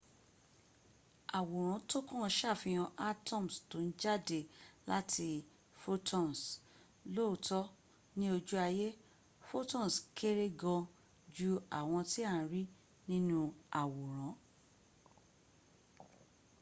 àwòrán tókàn ṣàfihàn atoms tó ń jáde láti photons. lóòtọ́ ní ojú ayé photons kéré gan jú àwọn tí à ń rí nínu àwòrán